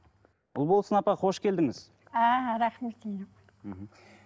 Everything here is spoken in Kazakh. ұлболсын апа қош келдіңіз рахмет мхм